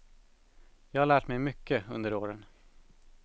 Jag har lärt mig mycket under åren.